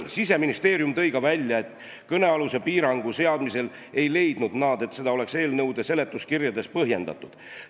Siseministeeriumi esindaja ütles, et kõnealuse piirangu seadmisel ei leidnud nad, et seda oleks eelnõude seletuskirjades põhjendatud.